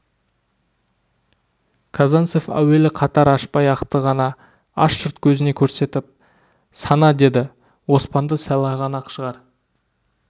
казанцев әуелі қатар ашпай ақты ғана аш жұрт көзіне көрсетіп сана деді оспанды сайлаған ақ шар